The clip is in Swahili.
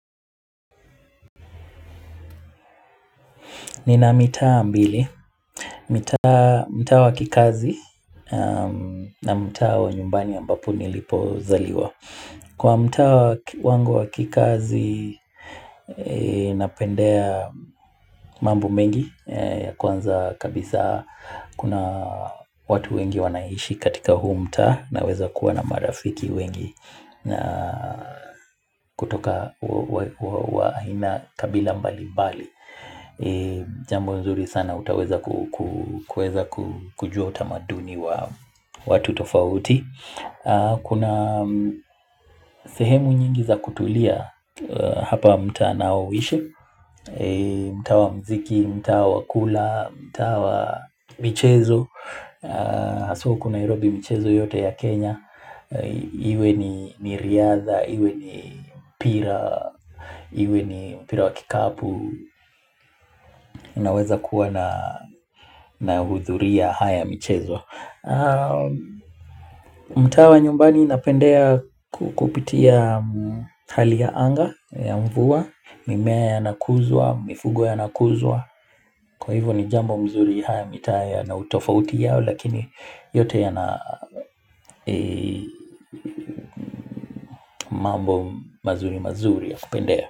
Nina mitaa mbili, mitaa mtaa wa kikazi na mtaa wa nyumbani ambapo nilipozaliwa kwa mtaa wa wangu wa kikazi napendea mambo mengi ya kwanza kabisa kuna watu wengi wanaishi katika huu mtaa naweza kuwa na marafiki wengi na kutoka huwa haina kabila mbalimbali Jambo nzuri sana utaweza kueza kujua utamaduni wa watu tofauti Kuna sehemu nyingi za kutulia hapa mtaa naoishi mtaa wa muziki, mtaa wa kula, mtaa wa michezo haswa huku Nairobi mchezo yote ya Kenya Iwe ni riadha, iwe ni mpira, iwe ni mpira wa kikapu unaweza kuwa nahudhuria haya michezo mtaa wa nyumbani napendea kupitia hali ya anga ya mvua mimea yanakuzwa, mifugo yanakuzwa kwa hivyo ni jambo mzuri haya mitaa yanautofauti yao lakini yote yana mambo mazuri mazuri ya kupendea.